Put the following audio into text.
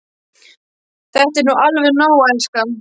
Þetta er nú alveg nóg, elskan!